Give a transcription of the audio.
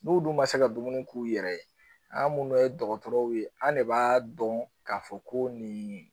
N'u dun ma se ka dumuni k'u yɛrɛ ye an minnu ye dɔgɔtɔrɔw ye an de b'a dɔn k'a fɔ ko nin